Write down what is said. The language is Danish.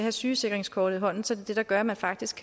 et sygesikringskort i hånden så det det der gør at man faktisk